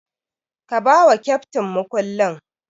Ka bawa keftin mukullin.